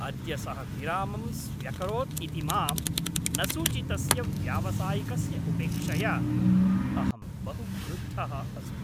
अद्य सः विरामं स्व्यकरोत् इति मां न सूचितस्य व्यावसायिकस्य उपेक्षया अहं बहु क्रुद्धः अस्मि।